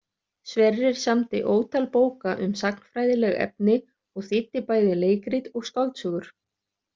Sverrir samdi ótal bóka um sagnfræðileg efni og þýddi bæði leikrit og skáldsögur.